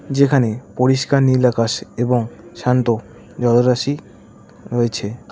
যেখানে পরিষ্কার নীল আকাশ এবং শান্ত জলরাশি রয়েছে।